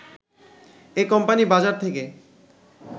এ company বাজার থেকে